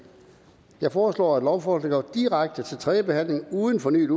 jeg foreslår at lovforslaget går direkte til tredje behandling uden fornyet